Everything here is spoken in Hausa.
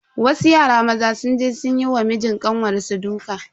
Wasu yara maza sun je sun yi wa mijin kanwar su duka.